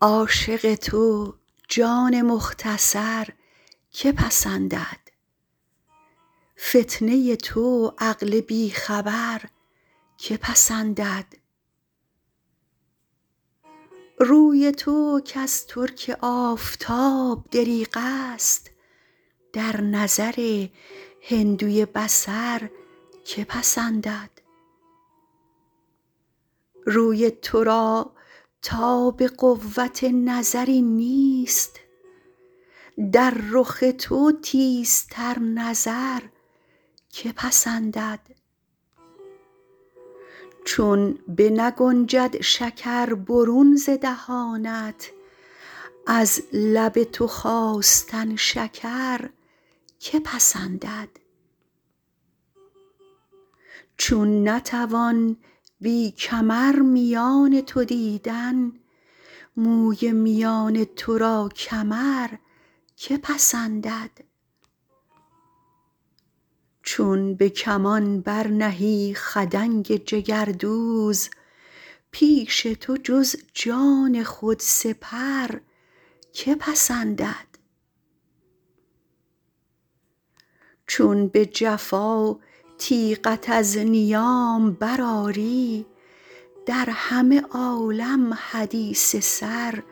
عاشق تو جان مختصر که پسندد فتنه ی تو عقل بی خبر که پسندد روی تو کز ترک آفتاب دریغ است در نظر هندوی بصر که پسندد روی تو را تاب قوت نظری نیست در رخ تو تیزتر نظر که پسندد چون بنگنجد شکر برون ز دهانت از لب تو خواستن شکر که پسندد چون نتوان بی کمر میان تو دیدن موی میان تو را کمر که پسندد چون به کمان برنهی خدنگ جگردوز پیش تو جز جان خود سپر که پسندد چون به جفا تیغت از نیام برآری در همه عالم حدیث سر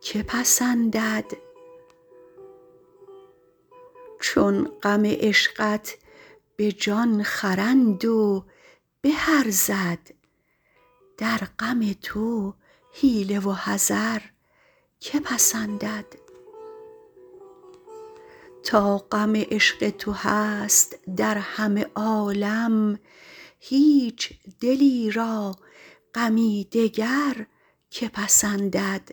که پسندد چون غم عشقت به جان خرند و به ارزد در غم تو حیله و حذر که پسندد تا غم عشق تو هست در همه عالم هیچ دلی را غمی دگر که پسندد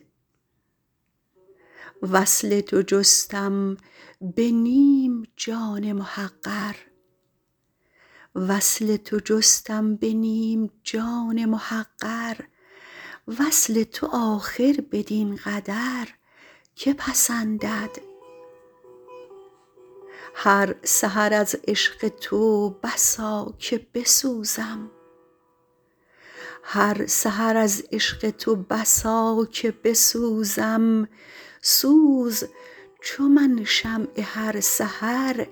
وصل تو جستم به نیم جان محقر وصل تو آخر بدین قدر که پسندد هر سحر از عشق تو بسا که بسوزم سوز چو من شمع هر سحر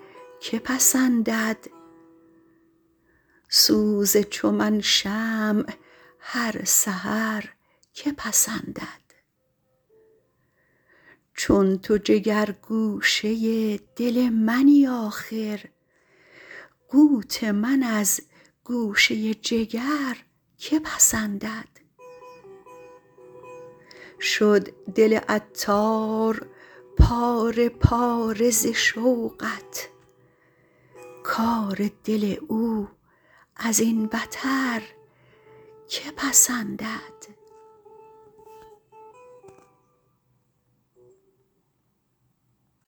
که پسندد چون تو جگر گوشه دل منی آخر قوت من از گوشه جگر که پسندد شد دل عطار پاره پاره ز شوقت کار دل او ازین بتر که پسندد